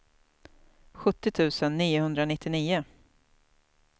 sjuttio tusen niohundranittionio